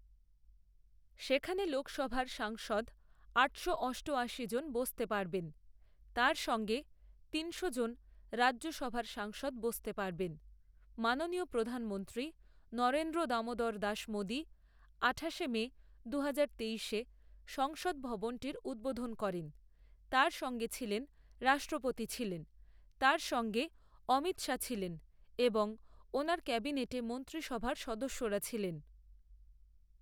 সেখানে লোকসভার সাংসদ আটশো অষ্টআশিজন বসতে পারবেন, তার সঙ্গে তিনশোজন রাজ্যসভার সাংসদ বসতে পারবেন। মাননীয় প্রধানমন্ত্রী নরেন্দ্র দামোদরদাস মোদী আঠাশে মে দুহাজার তেইশে সংসদ ভবনটির উদ্বোধন করেন। তার সঙ্গে ছিলেন রাষ্ট্রপতি ছিলেন, তার সঙ্গে অমিত শাহ ছিলেন এবং ওনার ক্যাবিনেটে মন্ত্রীসভার সদস্যরা ছিলেন।